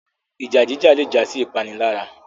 Ìjà jíjà le jásí ipanilara